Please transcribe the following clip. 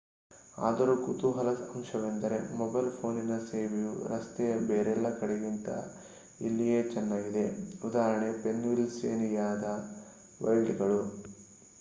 ಆದರೂ ಕುತೂಹಲದ ಅಂಶವೆಂದರೆ ಮೊಬೈಲ್ ಪೋನಿನ ಸೇವೆಯು ರಸ್ತೆಯ ಬೇರೆಲ್ಲ ಕಡೆಗಿಂತ ಇಲ್ಲಿಯೇ ಚೆನ್ನಾಗಿದೆ. ಉದಾಹರಣೆಗೆ ಪೆನ್ಸಿಲ್ವೇನಿಯಾ ವೈಲ್ಡ್‌ಗಳು